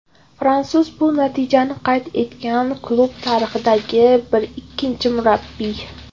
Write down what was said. Fransuz bu natijani qayd etgan klub tarixidagi ikkinchi murabbiy.